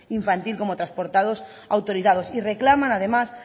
infantil como transportados autorizados y reclaman además